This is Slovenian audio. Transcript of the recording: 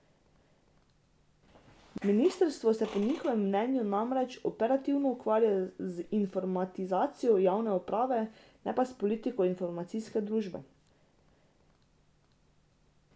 Ministrstvo se po njihovem mnenju namreč operativno ukvarja z informatizacijo javne uprave, ne pa s politiko informacijske družbe.